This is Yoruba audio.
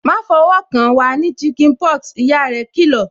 "Ma fọwọ́ kan, wa ní chicken pox" ìyá rẹ kì lọ̀